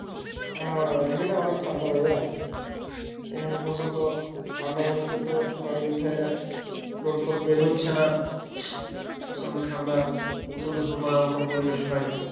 আহ এখানে অনেক ঠান্ডা ভাইয়া এখানে প্রচন্ড ঠান্ডা পড়তেছে কয়দিন ধরে রোদ টোদ বের হচ্ছে না প্রচন্ড ঠান্ডা প্রচন্ড পরিবেশ নাই